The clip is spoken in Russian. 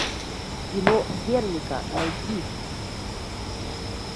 кино герника найти